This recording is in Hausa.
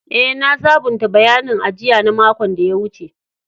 Eh, na sabunta bayanin ajia na makon da ya wuce.